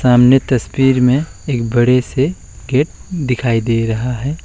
सामने तस्वीर में एक बड़े से गेट दिखाई दे रहा है।